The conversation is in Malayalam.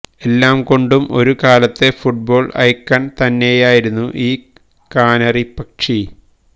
എല്ലാ കൊണ്ടും ഒരു കാലത്തെ ഫുട്ബോള് ഐക്കണ് തന്നെയായിരുന്നു ഈ കാനറിപ്പക്ഷി